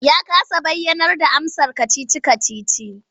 Ya kasa bayarda amsar kacici-kacicin.